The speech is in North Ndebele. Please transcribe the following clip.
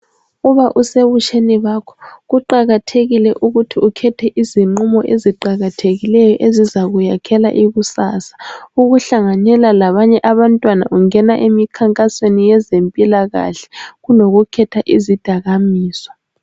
Uba usebutsheni bakho kuqakathekile ukuthi ukhethe izinqumo eziqakathekileyo ezizakuyakhela ikusasa lakho. Ukuhlanganyela labanye abantwana ungena emikhankasweni yezempilakahle kulokukhetha izidakamizwa.